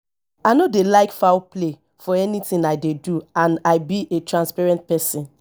i no dey like foul play for anything i dey do and i be a transparent person